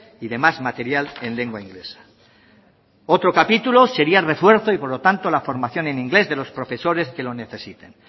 y demás material en lengua inglesa otro capítulo sería el refuerzo y por lo tanto la formación en inglés de los profesores que lo necesiten